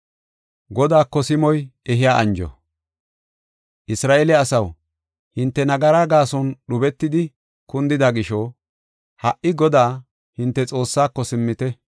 Isra7eele asaw, hinte nagaraa gaason dhubetidi kundida gisho ha77i Godaa, hinte Xoossaako simmite.